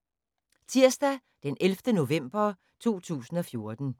Tirsdag d. 11. november 2014